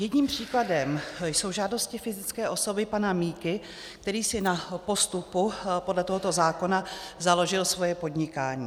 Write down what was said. Jedním příkladem jsou žádosti fyzické osoby pana Miky, který si na postupu podle tohoto zákona založil svoje podnikání.